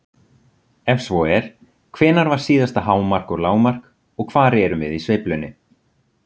Ef svo er, hvenær var síðasta hámark og lágmark og hvar erum við í sveiflunni?